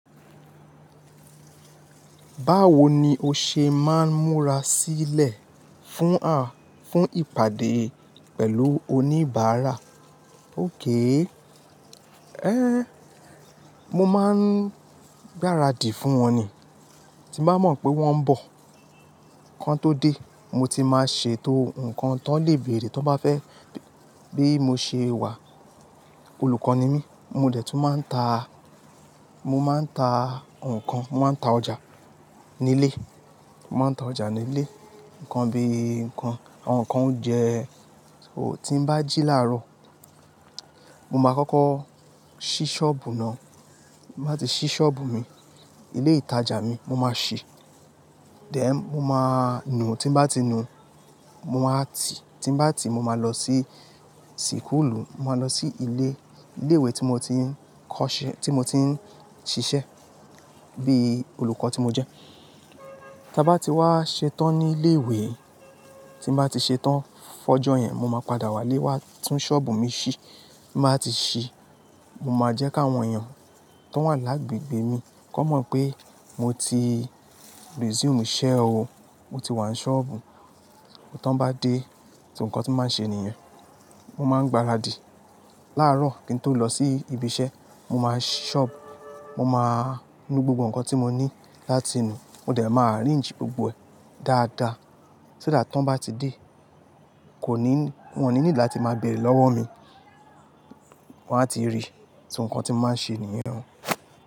Báwo ni o ṣe máa ń múra sílẹ̀ fún, à, fún ìpàdé pẹ̀lú oníbàárà? Ókay. Éh, mo máa ń gbáradì fún wọn ni. Tí n bá mọ̀ pé wọ́n ń bọ̀, kan tó dé, mo ti máa ṣe tó nǹkan tó lè bèrè tí wọ́n bá fẹ́ bí mo ṣe wà. Olùkọ́ ni mí, mo dè tún máa ń ta, mo máa ń ta nǹkan, mo máa ń ta ọjà nílé. Mo máa ń ta ọjà nílé, nǹkan bíi, nǹkan, àwọn nǹkan oúnjẹ. Óò ti ń bá jí láàárọ̀, mo máa kọ́kọ́ ṣí ṣọ́ọ̀bù náà. Mo báa ti ṣí ṣọ́ọ̀bù mi, ilé ìtajà mi, mo máa ṣí. Then, mo máa nù, tí n bá ti nù, mo máa tì, tí n bá ti, mo máa lọ sí síkùlù, mo máa lọ sí ilé, ilé ìwé tí mo ti ń kọ́ṣẹ́, tí mo ti ń ṣiṣẹ́ bí olùkọ́ tí mo jẹ́. Ta ba ti wa ṣetán ni ile ìwé, tin ba ti ṣetán fún ojo yẹn mo máa padà wale wa tún ṣọ́ọ̀bù mi si mo báa ti ṣí, mo máa jẹ́ kí àwọn èèyàn tó n wà lágbègbè mi kó mọ̀ pé mo ti resume iṣẹ́ o. Mo ti wá ń ṣọ́ọ̀bù. To n bá dé, so nǹkan tí mo máa n ṣe nìyẹn. Mo máa ń gbáradì. Lárọ̀ kí n tó lọ sí ibi iṣẹ́, mo máa si ṣọ́ọ̀bù, mo máa nu gbogbo nǹkan tí mo ní láti nu. Mo dẹ̀ máa arrange gbogbo ẹ̀ dáadáa. Ṣé that tí wọ́n bá ti dé, kò ní, wọ́n ò ní need latí máa bẹ̀rẹ̀ lọ́wọ́ mi. Wọn á ti rí, ti so nǹkan tí mo máa ṣe nìyẹn.